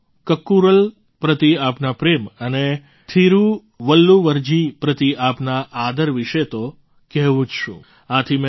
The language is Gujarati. તિરુક્કુરલ પ્રતિ આપના પ્રેમ અને તિરુવલ્લુવરજી પ્રતિ આપના આદર વિશે તો કહેવું જ શું